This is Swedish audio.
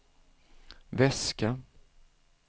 väska